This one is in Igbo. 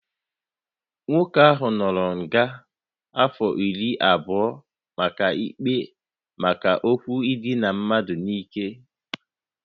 Nwoke a anọọla nga afọ iri abụọ maka ikpe maka okwu idina mmadụ n'ike